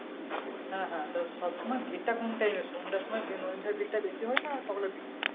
হ্যাঁ হ্যাঁ তা সব সময় ভিড় টা কোন টাইমে সন্ধ্যার সময় নদীর ধারে ভিড় টা বেশি হয় না সকালের দিকে?